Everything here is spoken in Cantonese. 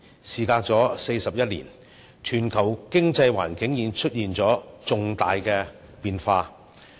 事隔41年，全球經濟環境已出現重大變化。